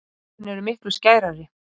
Augun eru miklu skærari.